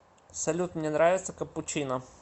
салют мне нравится капучино